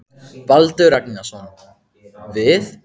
Baldur Ragnarsson: Við?